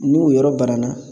N'u yɔrɔ banana